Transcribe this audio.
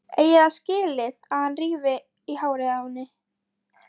Eigi það skilið að hann rífi í hárið á henni.